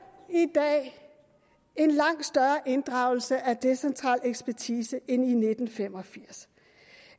dag en langt større inddragelse af decentral ekspertise end i nitten fem og firs